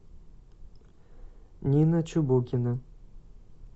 нина чубукина